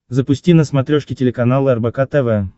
запусти на смотрешке телеканал рбк тв